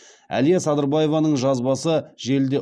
әлия садырбаеваның жазбасы желіде